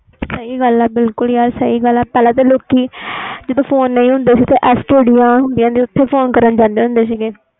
ਸਹੀ ਗੱਲ ਆ ਯਾਰ ਬਿਲਕੁਲ ਪਹਿਲਾ ਤਾ ਲੋਕੀ ਜਦੋ ਫੋਨ ਨਹੀਂ ਹੁੰਦੇ ਸੀ ਓਹਦੇ STD ਤੇ ਫੋਨ ਕਰਨ ਜਾਂਦੇ ਸੀ